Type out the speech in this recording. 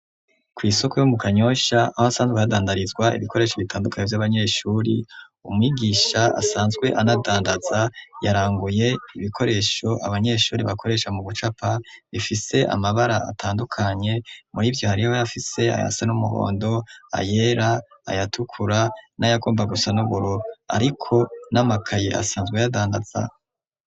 Kw'isoko yo mu Kanyosha, aho hasanzwe hadandarizwa ibikoresho bitandukanye vy'abanyeshuri, umwigisha asanzwe anadandaza, yaranguye ibikoresho abanyeshuri bakoresha mu gucapa bifise amabara atandukanye, muri ivyo hariho ayafise ayasa n'umuhondo, ayera, ayatukura, n'ayagomba gusa n'ubururu, ariko n'amakaye asanzwe ayadandaza.